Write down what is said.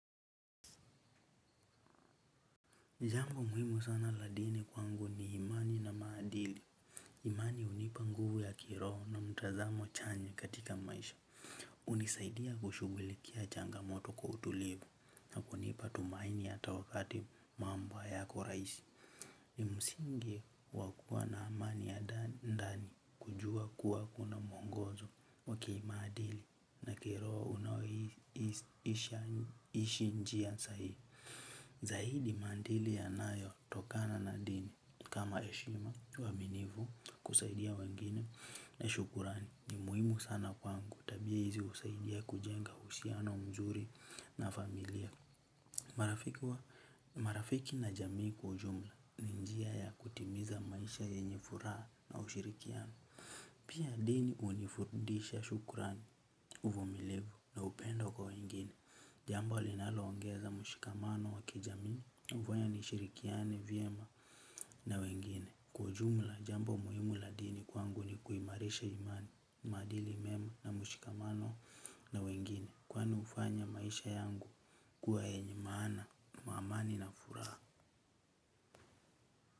Jambo muhimu sana la dini kwangu ni imani na maadili. Imani hunipa nguvu ya kiroho na mtazamo chanya katika maisha. Hunisaidia kushughulikia changamoto kwa utulivu na kunipa tumaini ata wakati mambo hayako raisi. Msingi wakuwa na amani ya ndani kujua kuwa kuna mwongozo wa kimaadili na kiroho unaoishi njia sahihi. Zaidi maadili yanayo tokana na dini kama heshima uaminifu kusaidia wengine na shukrani ni muhimu sana kwangu tabia hizi husaidia kujenga uhusiano mzuri na familia. Marafiki na jamii kwa ujumla ni njia ya kutimiza maisha yenye furaha na ushirikiano. Pia dini hunifundisha shukrani uvumilivu na upendo kwa wengine, jambo linaloongeza mshikamano wakijamii, na hufanya nishirikiane, vyema na wengine. Kwa ujumla, jambo muhimu la dini kwangu ni kuimarisha imani, maadili mema na mshikamano na wengine, kwani hufanya maisha yangu kuwa yenye maana, kwa amani na furaha.